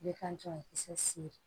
Bɛɛ ka jɔ kisɛ siri